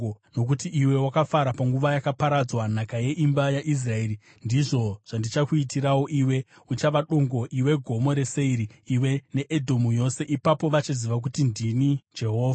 Nokuti iwe wakafara panguva yakaparadzwa nhaka yeimba yaIsraeri, ndizvo zvandichakuitirawo iwe. Uchava dongo, iwe Gomo reSeiri, iwe neEdhomu yose. Ipapo vachaziva kuti ndini Jehovha.’ ”